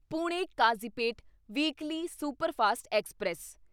Pune Kazipet weekly superfast express